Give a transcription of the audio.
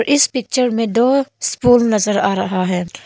इस पिक्चर में दो स्पून नजर आ रहा है।